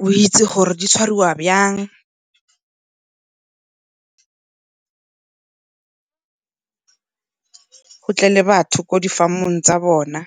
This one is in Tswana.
go itse gore di tshwariwa yang go tle le batho kwa di-farm-ong tsa bona .